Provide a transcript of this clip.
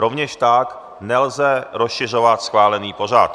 Rovněž tak nelze rozšiřovat schválený pořad.